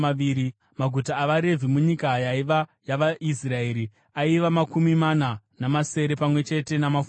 Maguta avaRevhi munyika yaiva yavaIsraeri aiva makumi mana namasere pamwe chete namafuro awo.